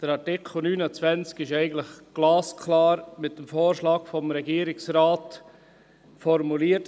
Artikel 29 ist mit dem Vorschlag des Regierungsrates eigentlich glasklar formuliert: